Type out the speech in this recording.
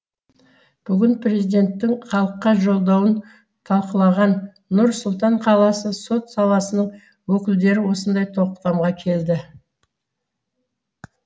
бүгін президенттің халыққа жолдауын талқылаған нұр сұлтан қаласы сот саласының өкілдері осындай тоқтамға келді